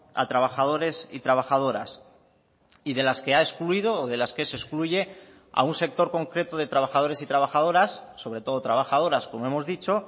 a trabajadores y trabajadoras y de las que ha excluido o de las que se excluye a un sector concreto de trabajadores y trabajadoras sobre todo trabajadoras como hemos dicho